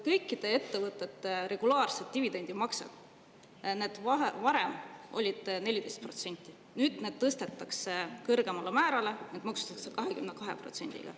Kõikide ettevõtete regulaarsetel dividendimaksetel, mis varem olid maksustatud 14%‑ga, tõstetakse maks nüüd kõrgemale ja need maksustatakse 22%‑ga.